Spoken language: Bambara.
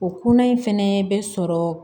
O kuna in fɛnɛ bɛ sɔrɔ